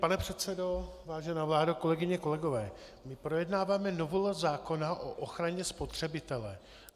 Pane předsedo, vážená vládo, kolegyně, kolegové, my projednáváme novelu zákona o ochraně spotřebitele.